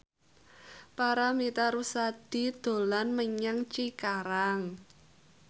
Paramitha Rusady dolan menyang Cikarang